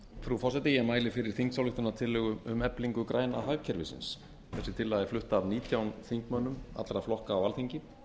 frú forseti ég mæli fyrir þingsályktunartillögu um eflingu græna hagkerfisins þessi tillaga er flutt af nítján þingmönnum allra flokka á alþingi